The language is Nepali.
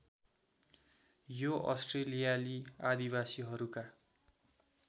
यो अस्ट्रेलियाली आदिवासीहरूका